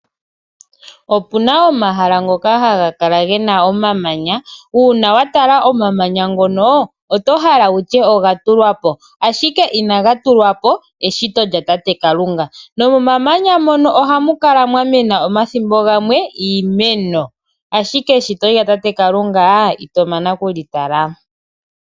Opuna omahala ngoka haga kala gena omamanya. Uuna watala omamanya ngono oto hala wutye oga tulwa po. Ashike inaga tulwa po eshito lya tate Kalunga. Momamanya mono ohamuka mwa mena iimeno omathimbo gamwe.